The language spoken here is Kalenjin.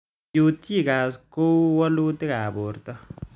Peutz Jaghers koiu walutik ab porto